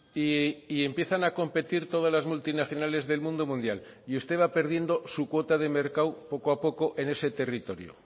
y empiezan a competir todas las multinacionales del mundo mundial y usted va perdiendo su cuota de mercado poco a poco en ese territorio